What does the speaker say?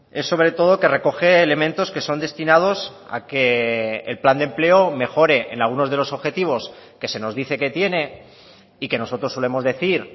es sobre todo que recoge elementos que son destinados a que el plan de empleo mejore en algunos de los objetivos que se nos dice que tiene y que nosotros solemos decir